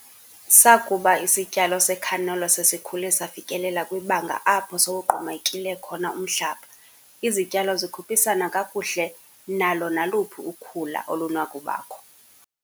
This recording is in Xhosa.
Sakuba isityalo secanola sesikhule safikelela kwibanga apho sowugqumekile khona umhlaba, izityalo zikhuphisana kakuhle nalo naluphi ukhula olunokubakho.